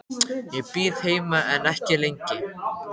Ég bíð heima en ekki lengi.